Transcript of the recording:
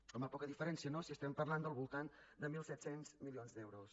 home poca diferència no si estem parlant al voltant de mil set cents milions d’euros